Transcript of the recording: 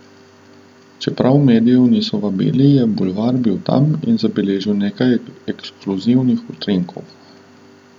Čeprav medijev niso vabili, je Bulvar bil tam in zabeležil nekaj ekskluzivnih utrinkov.